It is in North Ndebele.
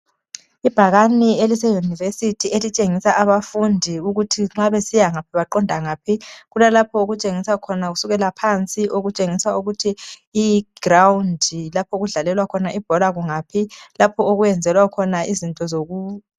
Ibhakani elise univesi elitshengisa abafundi ukuthi nxa besiya ngaphi baqonda ngaphi. Kulalapho okutshengisa khona kusukela phansi okutshengisa ukuthi iground lapho okudlalelwa khona ibhora kungaphi. Lapho okwenzelwa khona izinto zoku